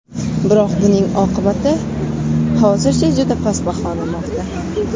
Biroq buning imkoniyati hozircha juda past baholanmoqda.